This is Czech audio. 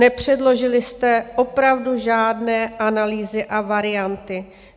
Nepředložili jste opravdu žádné analýzy a varianty.